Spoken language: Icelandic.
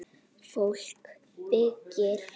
Fólk byggir.